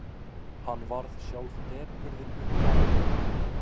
Hann varð sjálf depurðin uppmáluð.